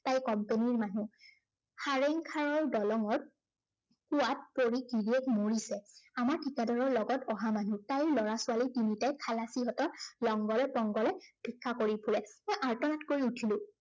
তাই company ৰ মানুহ। সাৰেংখাৰৰ দলঙত কোৱাত পৰি গিৰিয়েক মৰিছে। আমাৰ ঠিকাদাৰৰ লগত অহা মানুহ। তাইৰ লৰা ছোৱালী তিনিটাই খালাচীহঁতৰ লংগৰে পংগৰে ভিক্ষা কৰি ফুৰে। মই আৰ্তনাদ কৰি উঠিলো।